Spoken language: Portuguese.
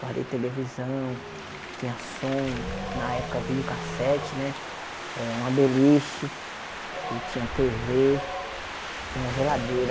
Guardei televisão, tinha som, na época videocassete né, eh uma beliche, eu tinha Tê Vê e uma geladeira.